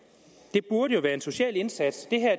det burde jo indebære en social indsats